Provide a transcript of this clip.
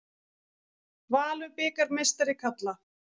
Valur bikarmeistari karla